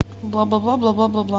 бла бла бла бла бла бла бла